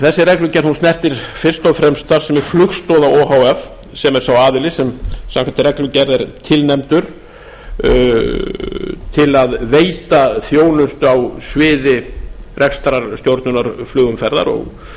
þessi reglugerð snertir fyrst og fremst starfsemi flugstoða o h f sem er sá aðili sem samkvæmt reglugerð er tilnefndur til að veita þjónustu á sviði rekstrarstjórnunar flugumferðar